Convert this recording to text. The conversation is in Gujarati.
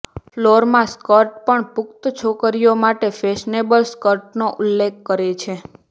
ફ્લોરમાં સ્કર્ટ પણ પુખ્ત છોકરીઓ માટે ફેશનેબલ સ્કર્ટનો ઉલ્લેખ કરે છે